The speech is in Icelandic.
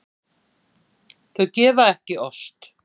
Þau gefa ekki ost.